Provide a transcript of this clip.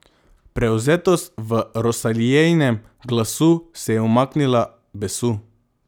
Prevzetnost v Rosaliejinem glasu se je umaknila besu.